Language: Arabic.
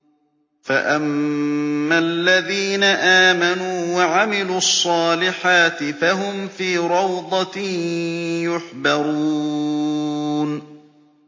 فَأَمَّا الَّذِينَ آمَنُوا وَعَمِلُوا الصَّالِحَاتِ فَهُمْ فِي رَوْضَةٍ يُحْبَرُونَ